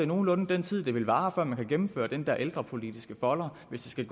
nogenlunde den tid det vil vare før man kan gennemføre i den der ældrepolitiske folder hvis det skal